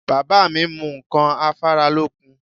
Bàbá mi mu ǹkan afáralókun